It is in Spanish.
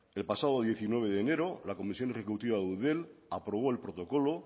el pasado diecinueve de enero la comisión ejecutiva de eudel aprobó el protocolo